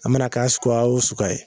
A mana k'a suguya o suguya ye